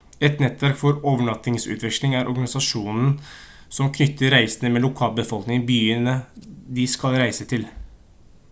et nettverk for overnattingsutveksling er organisasjonen som knytter reisende med lokalbefolkningen i byene de skal reise til